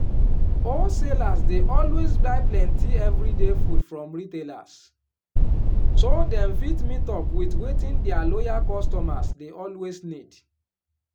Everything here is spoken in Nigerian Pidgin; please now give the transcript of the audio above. wholesalers dey always buy plenty every day food from retailers so dem fit meet up with wetin dia loyal customers dey always need.